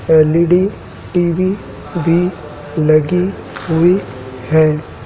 L E D T V भी लगी हुई है।